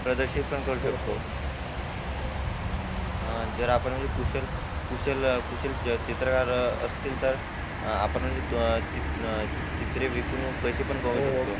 संग्रहित पण करू शकतो. हा जर आपण कुशल कुशल चित्रकार असती तर आपण म्हणजे चित्रे विकून पैसे कमावू शकतो.